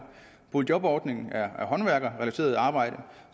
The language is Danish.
boligjobordningen er håndværkerrelateret arbejde